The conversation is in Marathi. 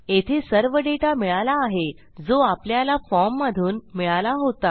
येथे सर्व डेटा मिळाला आहे जो आपल्याला फॉर्म मधून मिळाला होता